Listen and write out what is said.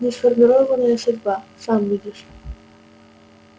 несформированная судьба сам видишь